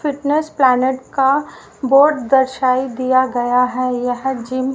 fitness planet का board दर्शायी दिया गया है यह जिम --